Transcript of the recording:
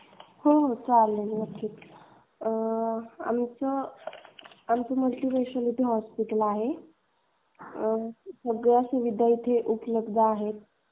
हो हो चालेल नक्कीच. आमचं मल्टीस्पेशलिटी हॉस्पिटल आहे. सगळ्यां सुविधा येथे उपलब्ध आहे.